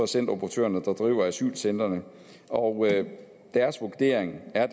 centeroperatørerne der driver asylcentrene og deres vurdering er